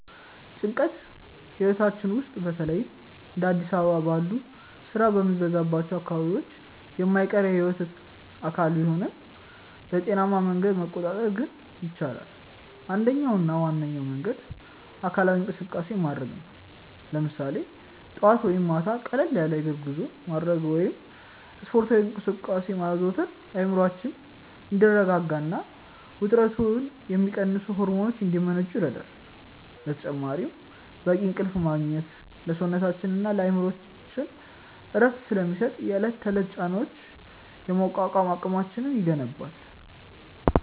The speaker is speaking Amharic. ጭንቀት ህይወታችን ውስጥ በተለይም እንደ አዲስ አበባ ባሉ ስራ በሚበዛባቸው አካባቢዎች የማይቀር የህይወት አካል ቢሆንም፣ በጤናማ መንገዶች መቆጣጠር ግን ይቻላል። አንደኛውና ዋነኛው መንገድ አካላዊ እንቅስቃሴ ማድረግ ነው፤ ለምሳሌ ጠዋት ወይም ማታ ቀለል ያለ የእግር ጉዞ ማድረግ ወይም ስፖርታዊ እንቅስቃሴዎችን ማዘውተር አእምሮአችን እንዲረጋጋና ውጥረትን የሚቀንሱ ሆርሞኖች እንዲመነጩ ይረዳል። በተጨማሪም በቂ እንቅልፍ ማግኘት ለሰውነታችንና ለአእምሮአችን እረፍት ስለሚሰጥ፣ የዕለት ተዕለት ጫናዎችን የመቋቋም አቅማችንን ይገነባል።